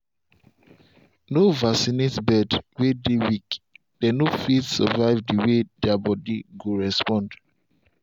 no vaccinate bird way dey weak- dem no fit survive the way their body go respond.